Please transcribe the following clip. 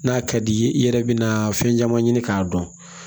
N'a ka di ye i yɛrɛ bɛna fɛn caman ɲini k'a dɔn